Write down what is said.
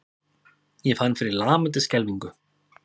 Ég fann fyrir lamandi skelfingu.